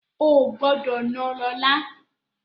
Ò gbọ́dọ̀ náà lọ́la!